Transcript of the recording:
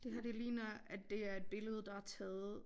Det her det ligner at det er et billede der er taget